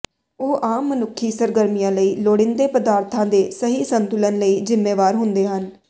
ਉਹ ਆਮ ਮਨੁੱਖੀ ਸਰਗਰਮੀਆਂ ਲਈ ਲੋੜੀਂਦੇ ਪਦਾਰਥਾਂ ਦੇ ਸਹੀ ਸੰਤੁਲਨ ਲਈ ਜ਼ਿੰਮੇਵਾਰ ਹੁੰਦੇ ਹਨ